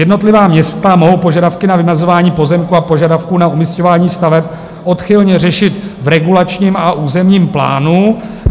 Jednotlivá města mohou požadavky na vymezování pozemků a požadavků na umisťování staveb odchylně řešit v regulačním a územním plánu.